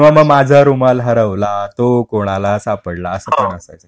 माझा रुमाल हरवला तो कोणाला सापडला असं काहीतरी